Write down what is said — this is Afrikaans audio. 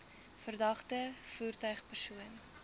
verdagte voertuig persoon